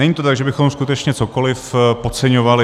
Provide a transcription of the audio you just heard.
Není to tak, že bychom skutečně cokoliv podceňovali.